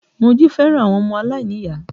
Moji fẹ́ràn àwọn ọmọ aláìníyàá